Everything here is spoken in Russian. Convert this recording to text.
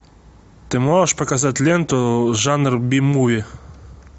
ты можешь показать ленту жанр би муви